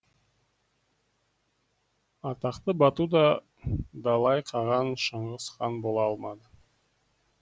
атақты бату да далай қаған шыңғыс хан бола алмады